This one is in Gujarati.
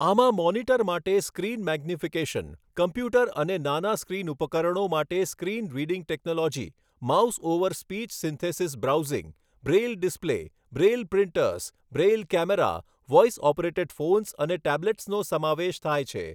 આમાં મોનિટર માટે સ્ક્રીન મેગ્નિફિકેશન, કમ્પ્યુટર અને નાના સ્ક્રીન ઉપકરણો માટે screen reading technology, mouse over speech synthesis browsing, braille display, braille printers, braille camera, voice operated phones અને ટેબ્લેટ્સનો સમાવેશ થાય છે.